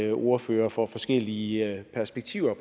ordførere for forskellige perspektiver